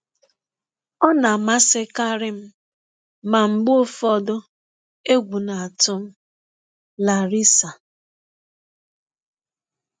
Ọ na-amasịkarị m, ma mgbe ụfọdụ, egwụ na-atụ m.” —Larissa.